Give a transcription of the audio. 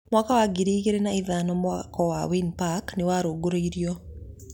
Mwaka wa ngiri igĩrĩ na ithano mwako wa Wynn Park nĩwarugũririo